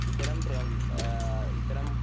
ഇത്തരം പ്രം അഹ് ഇത്തരം